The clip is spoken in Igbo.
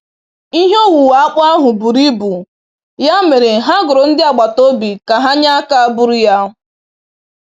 Ihe owuwe akpụ ahụ buru ibu, ya mere ha goro ndị agbataobi ka ha nye aka buru ya.